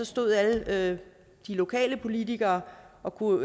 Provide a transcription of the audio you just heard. stod alle de lokale politikere og kunne